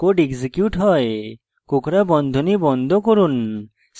condition true হলে code execute হয়